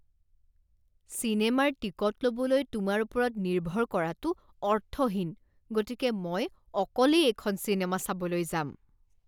চিনেমাৰ টিকট ল'বলৈ তোমাৰ ওপৰত নিৰ্ভৰ কৰাটো অৰ্থহীন, গতিকে মই অকলেই এইখন চিনেমা চাবলৈ যাম।